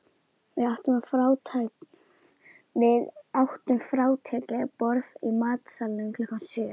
Við áttum frátekið borð í matsalnum klukkan sjö.